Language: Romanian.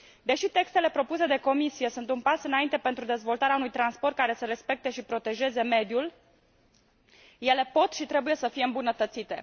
Deși textele propuse de Comisie sunt un pas înainte pentru dezvoltarea unui transport care să respecte și să protejeze mediul, ele pot și trebuie să fie îmbunătățite.